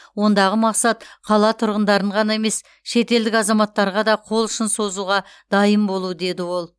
ондағы мақсат қала тұрғындарын ғана емес шетелдік азаматтарға да қол ұшын созуға дайын болу деді ол